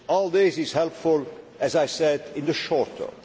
All this is helpful, as I said, in the short term.